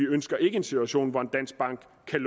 ønsker en situation hvor en dansk bank kan